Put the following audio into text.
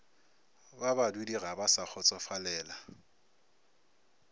ba badudiga ba sa kgotsofalela